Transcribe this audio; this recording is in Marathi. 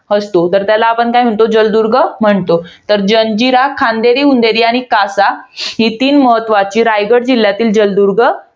असतो. तर त्याला आपण काय म्हणतो? तर जलदुर्ग म्हणतो. तर जंजिरा, खांदेरी उंदेरी आणि कासा ही तीन महत्वाची, रायगड जिल्ह्यातील जलदुर्ग